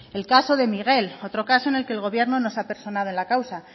el caso de miguel otro caso en el que el gobierno no se ha personado en la causa